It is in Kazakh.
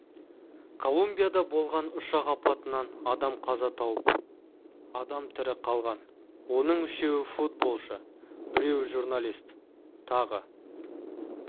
колумбияда болған ұшақ апатынан адам қаза тауып адам тірі қалған оның үшеуі футболшы біреуі журналист тағы